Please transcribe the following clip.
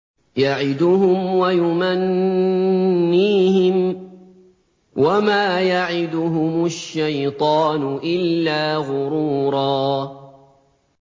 يَعِدُهُمْ وَيُمَنِّيهِمْ ۖ وَمَا يَعِدُهُمُ الشَّيْطَانُ إِلَّا غُرُورًا